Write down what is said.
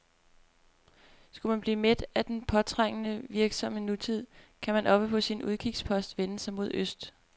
Skulle man blive mæt af den påtrængende, virksomme nutid, kan man oppe på sin udkigspost vende sig mod øst.